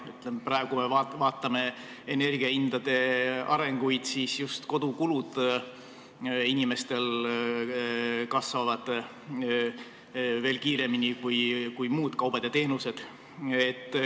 Kui me praegu vaatame energiahindu, siis just inimeste kodukulud kasvavad veel kiiremini kui muudel kaupadel ja teenustel.